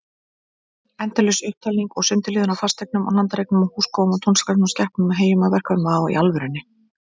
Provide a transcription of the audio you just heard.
Endalaus upptalning og sundurliðun á fasteignum og landareign, húskofum og túnskæklum, skepnum og heyjum, verkfærum og búsáhöldum, koppum og kirnum, tækjum og tólum.